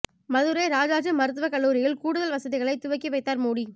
மதுரை ராஜாஜி மருத்துவ கல்லூரியில் கூடுதல் வசதிகளை துவக்கி வைத்தார் மோடி